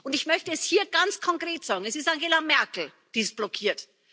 Ich möchte es hier ganz konkret sagen Es ist Angela Merkel, die sie blockiert.